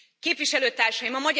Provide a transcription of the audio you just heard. Képviselőtársaim!